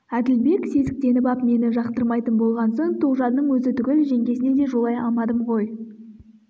әділбек сезіктеніп ап мені жақтырмайтын болған соң тоғжанның өзі түгіл жеңгесіне де жолай алмадым ғой